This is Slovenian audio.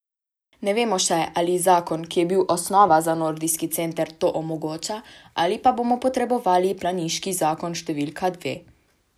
Ne vemo še, ali zakon, ki je bil osnova za nordijski center, to omogoča, ali pa bomo potrebovali planiški zakon številka dve.